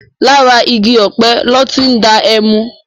Làrá igi òpé lò ti n dá èmú